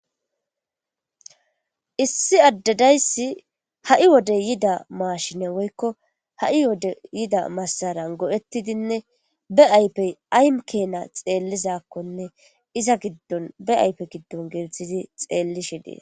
issi addadayssi ha7i wodey yida maashine woykko ha7i wode yida massaran go7ettidinne be aypey aym keena xeellizakkonne iza giddon be aype giddon geerthidi xeellishe dees